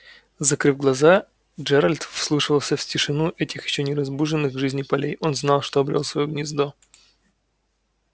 закрыв глаза джералд вслушивался в тишину этих ещё не разбуженных к жизни полей он знал что обрёл своё гнездо